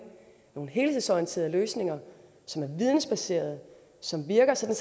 nogle helhedsorienterede løsninger som er vidensbaserede og som virker sådan